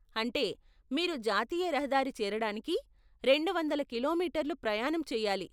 అంటే మీరు జాతీయ రహదారి చేరడానికి రెండు వందల కిలోమీటర్లు ప్రయాణం చెయ్యాలి.